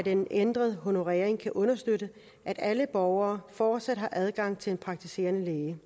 en ændret honorering kan understøtte at alle borgere fortsat har adgang til en praktiserende læge